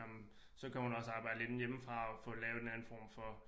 Nåh men så kan hun også arbejde lidt hjemmefra og få lavet en anden form for